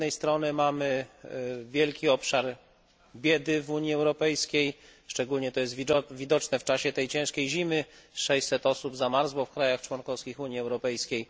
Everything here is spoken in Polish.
Z jednej strony mamy wielki obszar biedy w Unii Europejskiej, szczególnie jest to widoczne w czasie tej ciężkiej zimy 600 osób zamarzło w państwach członkowskich Unii Europejskiej.